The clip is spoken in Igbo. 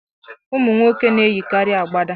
Ụmụnwoke na-eyikarị agbada.